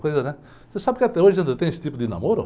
Coisa né? Você sabe que até hoje ainda tem esse tipo de namoro?